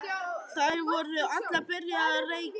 Þær voru allar byrjaðar að reykja.